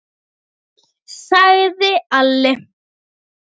sagði Alli.